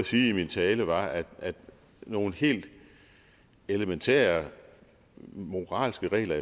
sige i min tale var at nogle helt elementære moralske regler